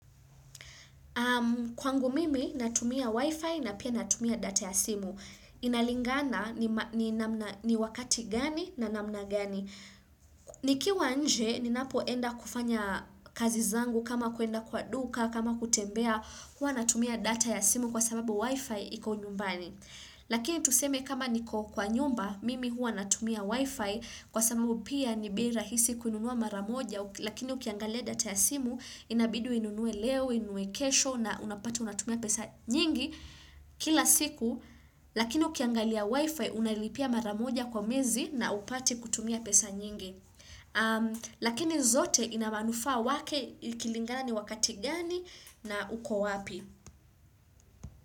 Kwangu mimi natumia wifi na pia natumia data ya simu. Inalingana ni wakati gani na namna gani. Nikiwa nje ninapo enda kufanya kazi zangu kama kuenda kwa duka kama kutembea hua natumia data ya simu kwa sababu wifi iko nyumbani. Lakini tuseme kama niko kwa nyumba mimi hua natumia wifi kwa samu pia ni bei rahisi kununua maramoja lakini ukiangalia data ya simu inabidi inunue leo, inue kesho na unapati unatumia pesa nyingi kila siku Lakini ukiangalia wifi unalipia maramoja kwa mezi na upati kutumia pesa nyingi Lakini zote inamanufa wake kilingani wakati gani na uko wapi.